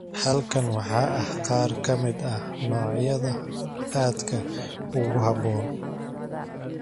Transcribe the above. Halkan waxaa ah qaar ka mid ah noocyada aadka ugu habboon.